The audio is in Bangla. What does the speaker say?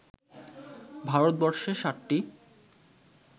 ভারতবর্ষে সাতটি